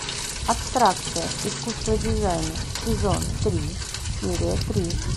абстракция искусство дизайна сезон три серия три